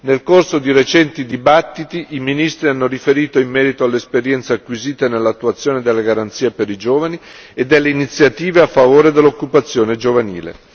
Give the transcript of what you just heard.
Nel corso di recenti dibattiti, i ministri hanno riferito in merito all'esperienza acquisita nell'attuazione delle garanzie per i giovani e delle iniziative a favore dell'occupazione giovanile.